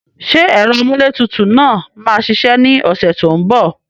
Ṣé ẹ̀rọ amúlétutù náà máa ṣiṣẹ́ ní ọ̀sẹ̀ tó ń bọ̀?